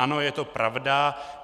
Ano, je to pravda.